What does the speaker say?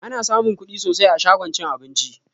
Ana samun kuɗi sosai a shagon cin abinci